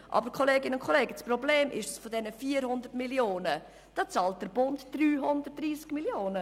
Aber das Problem ist, dass der Bund 330 Mio. Franken von diesen 400 Mio. Franken bezahlt.